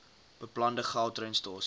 beplande gautrain stasies